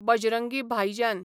बजरंगी भाईजान